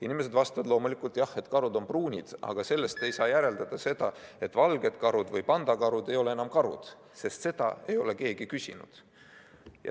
Inimesed vastavad loomulikult jah, et karud on pruunid, aga sellest ei saa järeldada, et valged karud või pandakarud ei ole enam karud, sest seda ei ole keegi küsinud.